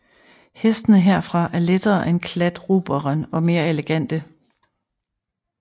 Hestene herfra er lettere end kladruberen og mere elegante